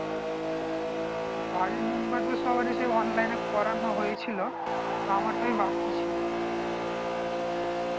বাড়ির member দের সবাড়ির online এ করানো হয়েছিল টা আমার টাই বাকি ছিল